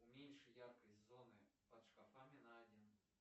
уменьши яркость зоны под шкафами на один